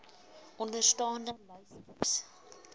onderstaande lys kies